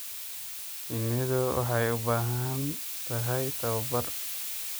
Shinnidu waxay u baahan tahay tababar.